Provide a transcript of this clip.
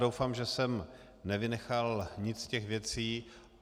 Doufám, že jsem nevynechal nic z těch věcí.